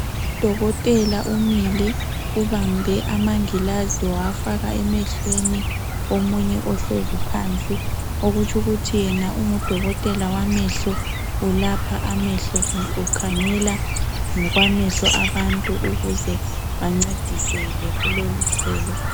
Udokotela umile, ubambe amangilazi wawafaka emehlweni womunye ohlezi phansi okutsho ukuthi yena ungudokotela wamehlo .Ulapha amehlo kumbe ukhangela ngokwamehlo abantu ukuze bancediseke kuloluhlelo.